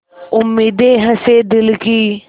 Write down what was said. उम्मीदें हसें दिल की